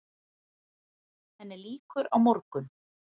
Henni lýkur á morgun.